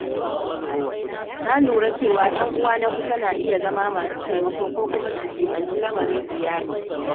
Na lura cewa ‘yan uwa na kusa na iya zama masu taimako ko kuma su jiɓinci al'amarin iyali.